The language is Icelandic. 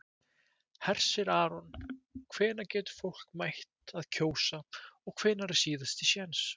Hersir Aron: Og hvenær getur fólk mætt að kjósa og hvenær er síðasti séns?